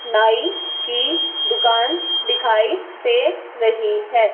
नाई की दुकान दिखाई दे रहीं हैं।